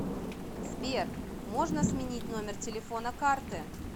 сбер можно сменить номер телефона карты